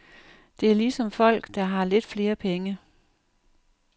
Det er ligesom folk, der har lidt flere penge.